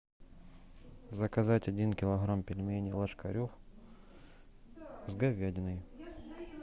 заказать один килограмм пельменей ложкарев с говядиной